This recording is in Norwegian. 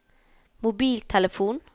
mobiltelefon